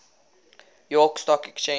york stock exchange